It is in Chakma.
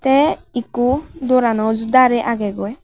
te ikko dorano uju dare agegoi.